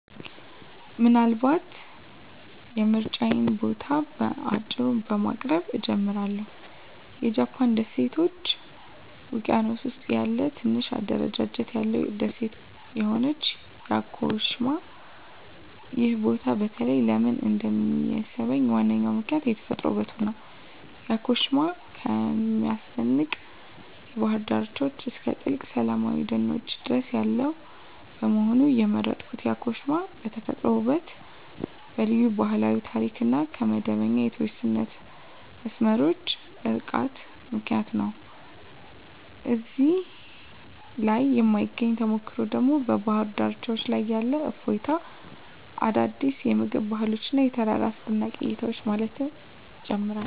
ምናልባት የምርጫዬን ቦታ በአጭሩ በማቅረብ እጀምራለሁ -የጃፓን ደሴቶች ውቅያኖስ ውስጥ ያለ ትንሽ አደረጃጀት ያለው ደሴት የሆነችው ያኮሺማ። ይህ ቦታ በተለይ ለምን እንደሚሳብኝ ዋናው ምክንያት የተፈጥሮ ውበቱ ነው። ያኮሺማ ከሚያስደንቅ የባህር ዳርቻዎች እስከ ጥልቅ ሰላማዊ ደኖች ድረስ ያለው በመሆኑ። የመረጥኩት ያኮሺማ በተፈጥሯዊ ውበቷ፣ በልዩ ባህላዊ ታሪክ እና ከመደበኛ የቱሪስት መስመሮች ርቃታ ምክንያት ነው። እዚያ ላይ የማግኘት ተሞክሮ ደግሞ በባህር ዳርቻዎች ላይ ያለ እፎይታ፣ አዳዲስ የምግብ ባህሎች እና የተራራ አስደናቂ እይታዎችን ማየት ይጨምራል።